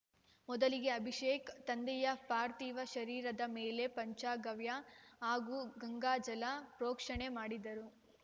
ಮೊದಲಿಗೆ ಅಭಿಷೇಕ್‌ ತಂದೆಯ ಪಾರ್ಥಿವ ಶರೀರದ ಮೇಲೆ ಪಂಚಗವ್ಯ ಹಾಗೂ ಗಂಗಾಜಲ ಪ್ರೋಕ್ಷಣೆ ಮಾಡಿದರು